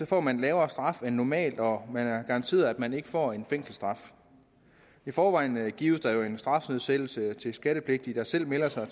får man lavere straf end normalt og man er garanteret at man ikke får en fængselsstraf i forvejen gives der jo en strafnedsættelse til skattepligtige der selv melder sig